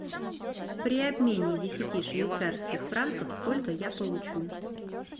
при обмене десяти швейцарских франков сколько я получу